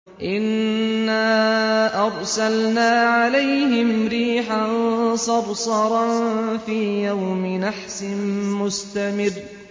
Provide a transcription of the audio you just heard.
إِنَّا أَرْسَلْنَا عَلَيْهِمْ رِيحًا صَرْصَرًا فِي يَوْمِ نَحْسٍ مُّسْتَمِرٍّ